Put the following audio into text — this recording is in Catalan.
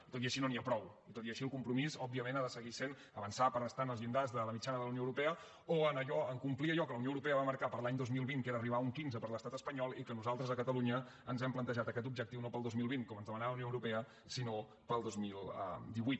tot i així no n’hi ha prou i tot i així el compromís òbviament ha de seguir sent avançar per estar en els llindars de la mitjana de la unió europea o complir allò que la unió europea va marcar per a l’any dos mil vint que era arribar a un quinze per a l’estat espanyol i que nosaltres a catalunya ens hem plantejat aquest objectiu no per al dos mil vint com ens demanava la unió europea sinó per al dos mil divuit